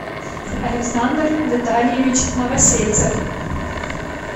александр витальевич новосельцев